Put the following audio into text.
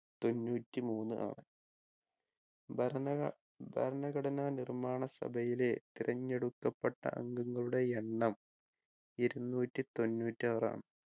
തൊണ്ണൂറ്റി മൂന്ന് ആണ് ഭരണഗ ഏർ ഭരണഘടനാ നിർമ്മാണ സഭയിലെ തിരഞ്ഞെടുക്കപ്പെട്ട അംഗങ്ങളുടെ എണ്ണം ഇരുന്നൂറ്റി തൊണ്ണൂറ്റാറ് ആണ്